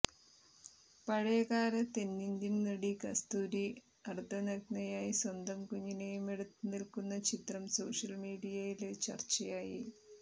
പഴയകാല തെന്നിന്ത്യന് നടി കസ്തൂരി അര്ധനഗ്നയായി സ്വന്തം കുഞ്ഞിനേയും എടുത്ത് നില്ക്കുന്ന ചിത്രം സോഷ്യല് മീഡിയയില് ചര്ച്ചയായി